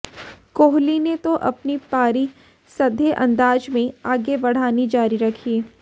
कोहली ने तो अपनी पारी सधे अंदाज में आगे बढ़ानी जारी रखी